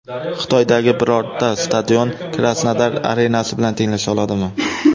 Xitoydagi birorta stadion Krasnodar arenasi bilan tenglasha oladimi?